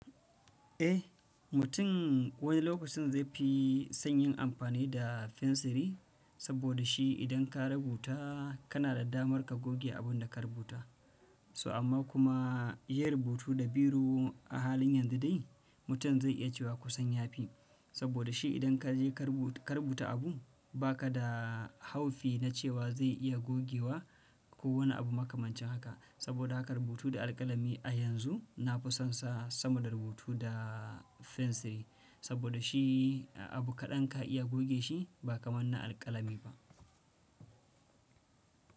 Eh, mutum wani lokacin zai fi son yin amfani da fensiri, saboda shi idan ka rubuta kana da damar ka goge abun da ka rubuta. To amma kuma yin rubutu da biro a halin yanzu dai mutum zai iya cewa kusan ya fi. Saboda shi idan ka je ka rubuta abu ba ka da haufi na cewa zai iya gogewa ko wani abu makamancin haka. Saboda haka rubutu da alƙalami a yanzu na fi son sa sama da rubutu da fensiri. Saboda shi abu kaɗan ka iya goge shi ba kamar na alƙalami ba.